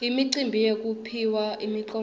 imicimbi yekuphiwa imiklomelo